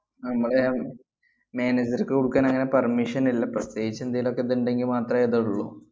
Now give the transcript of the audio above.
അഹ് നമ്മടെ manager ക്ക് കൊടുക്കാന്‍ അങ്ങനെ permission ഇല്ല, പ്രത്യേകിച്ച് എന്തേലുമൊക്കെ ദെണ്ടെങ്കി മാത്രേ ദൊള്ളൂ.